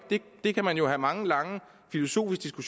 det kan man jo have mange og lange filosofiske